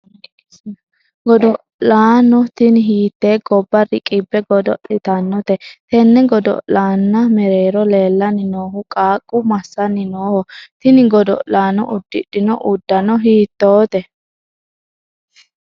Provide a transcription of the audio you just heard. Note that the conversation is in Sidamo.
godo'laano tini hiittee gobba riqibbe godo'litannote? tenne godo'laan mereero leellanni noohu qaaqqu massani nooho? tini godo'laano udidhino uddano hiittoote ?